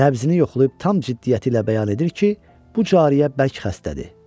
Nəbzini yoxlayıb tam ciddiyyəti ilə bəyan edir ki, bu cariyə bərk xəstədir.